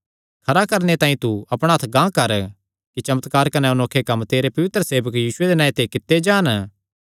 खरा करणे तांई तू अपणा हत्थ गांह कर कि चमत्कार कने अनोखे कम्म तेरे पवित्र सेवक यीशुये दे नांऐ ते कित्ते जान